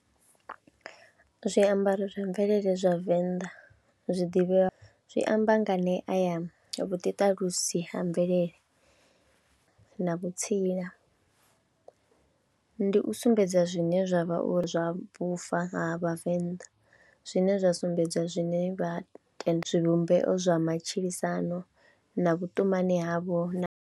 Zwiambaro zwa mvelele zwa Venḓa zwi ḓivhea, zwi amba nganea ya vhuḓiṱalusi ha mvelele na vhutsila, ndi u sumbedza zwine zwa vha uri zwa vhufa ha Vhavenḓa zwine zwa sumbedza zwine vha zwivhumbeo zwa matshilisano na vhutumani havho na.